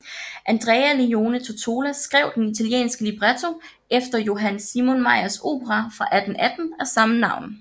Andrea Leone Tottola skrev den italienske libretto efter Johann Simon Mayrs opera fra 1818 af samme navn